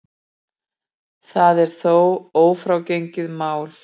Það er þó ófrágengið mál.